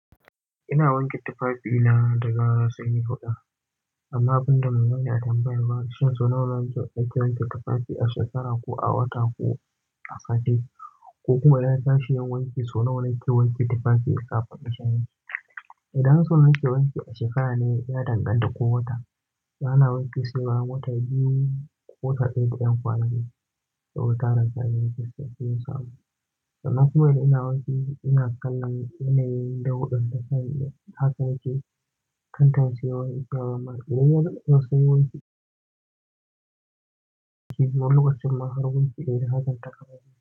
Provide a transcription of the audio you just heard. Ina wanke tufafina da gara sanyi huɗa. Amma abinda muna yi a tambayar baƙi, shi sonawan ake wanke tufafi a shekara ko a wata ko a sati, ko kuma yayi kashi yayi wanki sonawan yake wanke tufafi ya fahimci. Idan sonawar yake wanki a shekara ne, ya danganta ko wata. Ana wanke sai bayan wata biyu ko wata ɗaya ɗan kwana dai, sai wuta razan yayi fiska, yayi samu. Amma kuma da ina wanke, ina kallon yanayin dauɗan da sani, haka yake. Kantan siyarwa, yi kama maka. Idan yana son wanki, wani loƙacin ma har wanki yayi, haka ɗan taka yake.